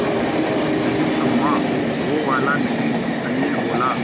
नहीं अम्मा वो वाला नहीं अनिल बोला